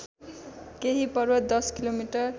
केही पर्वत १० किमि